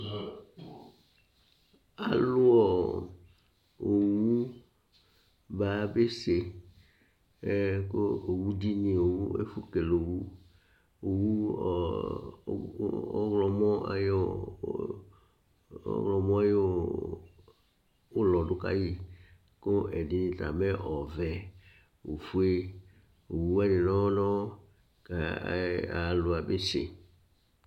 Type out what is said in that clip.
Alʋ owu ba besɛ Owu dini, ɛfʋ la kele owu Owu, ɔwlɔmɔ ayʋ ʋlɔ du kayi kʋ ɛdini ta mɛ ɔvɛ, ɔfʋe Owu wani nʋ ɔwɔ nʋ ɔwɔ kʋ alu wani yabese